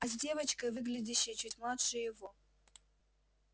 а с девочкой выглядящей чуть младше его